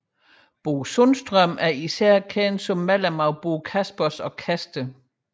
Bo Sundström er især kendt som medlem af Bo Kaspers Orkester